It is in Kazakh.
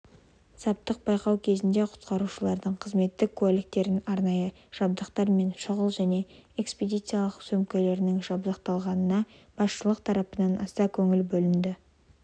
саптық байқау кезінде құтқарушылардың қызметтік куәліктерін арнайы жабдықтары мен шұғыл және экспедициялық сөмкелерінің жабдықтылығына басшылық тарапынан аса көңіл бөлінді